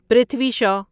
پرتھوی شا